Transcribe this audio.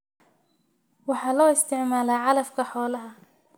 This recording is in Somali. Waxa loo isticmaalaa calafka xoolaha.